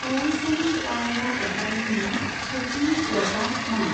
बावैसोनि कायेरा एदभानिनि सावथुननि प्ल'टआ मा?